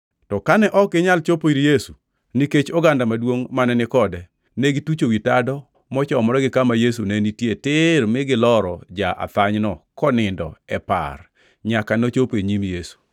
To kane ok ginyal chopo ir Yesu nikech oganda maduongʼ mane ni kode, ne gitucho wi tado mochomore gi kama Yesu ne nitie tir mi giloro ja-athanyno konindo e par nyaka nochopo e nyim Yesu.